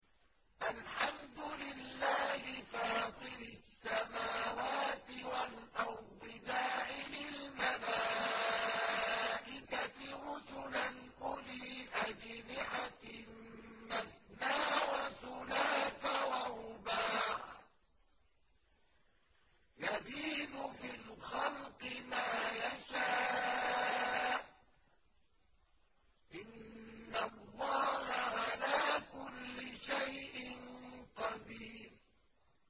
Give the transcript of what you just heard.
الْحَمْدُ لِلَّهِ فَاطِرِ السَّمَاوَاتِ وَالْأَرْضِ جَاعِلِ الْمَلَائِكَةِ رُسُلًا أُولِي أَجْنِحَةٍ مَّثْنَىٰ وَثُلَاثَ وَرُبَاعَ ۚ يَزِيدُ فِي الْخَلْقِ مَا يَشَاءُ ۚ إِنَّ اللَّهَ عَلَىٰ كُلِّ شَيْءٍ قَدِيرٌ